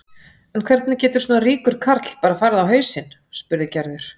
En hvernig getur svona ríkur karl bara farið á hausinn? spurði Gerður.